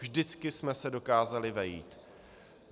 Vždycky jsme se dokázali vejít.